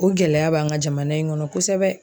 O gɛlɛya b'an ka jamana in kɔnɔ kosɛbɛ.